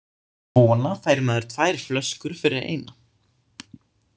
Svona fær maður tvær flöskur fyrir eina.